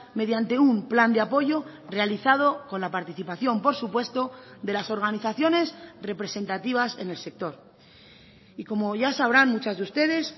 mediante un plan de apoyo realizado con la participación por supuesto de las organizaciones representativas en el sector y como ya sabrán muchas de ustedes